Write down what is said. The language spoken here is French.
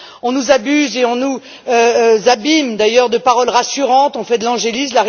On nous abuse et on nous abîme d'ailleurs de paroles rassurantes, on fait de l'angélisme.